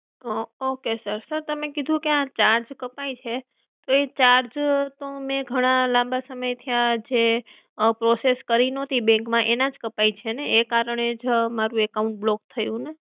ઓ okay sir sir તમે કીધું કે આ ચાર્જ કપાય છે તે charge તો મેં ઘણા લાંબા સમય થયા છે. આ process કરી નોતી bank માં એના જ કપાય છેને? એ કારણે જ મારુ account block થયું છેને?